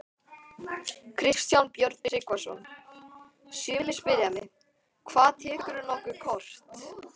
Kristján Björn Tryggvason: Sumir spyrja mig: Hvað, tekurðu nokkuð kort?